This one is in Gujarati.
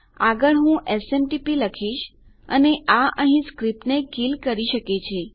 આગળ હું એસએમટીપી લખીશ અને આ અહીં સ્ક્રીપ્ટને કીલ નષ્ટ કરી શકે છે